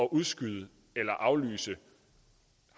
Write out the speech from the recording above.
udskyde eller aflyse